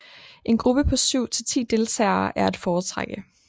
En gruppe på 7 til 10 deltagere er at foretrække